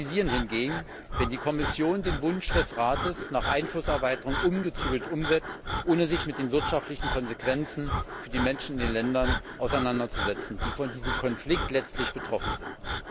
Wir kritisieren hingegen, wenn die Kommission den Wunsch des Rates nach Einflusserweiterung ungezügelt umsetzt, ohne sich mit den wirtschaftlichen Konsequenzen für die Menschen in den Ländern auseinanderzusetzen, die von diesem Konflikt letztlich betroffen sind.